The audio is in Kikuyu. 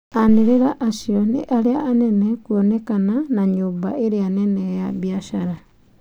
Manĩrĩra acu niaria manene kuonekana na nyuũmba iria nene ya biathara.